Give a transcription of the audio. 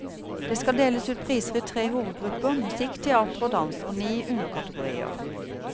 Det skal deles ut priser i tre hovedgrupper, musikk, teater og dans, og ni underkategorier.